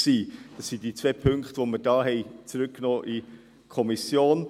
Das sind diese zwei Punkte, die wir in die Kommission zurückgenommen haben.